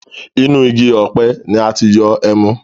Inú igi ọ̀pẹ ni a ti yọ ẹmu